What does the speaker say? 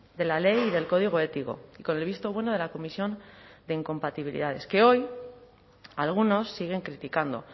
de la ley y del código ético con el visto bueno de la comisión de incompatibilidades que hoy algunos siguen criticando